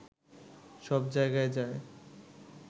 সব জায়গায় যায়